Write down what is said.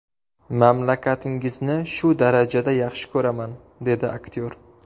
Mamlakatingizni shu darajada yaxshi ko‘raman”, dedi aktyor.